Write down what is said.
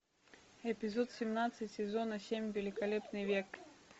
эпизод семнадцать сезона семь великолепный век